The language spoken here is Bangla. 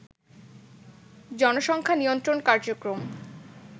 জনসংখ্যা নিয়ন্ত্রণ কার্যক্রম